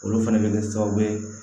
Olu fɛnɛ bɛ kɛ sababu ye